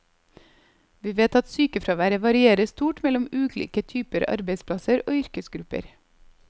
Vi vet at sykefraværet varierer stort mellom ulike typer arbeidsplasser og yrkesgrupper.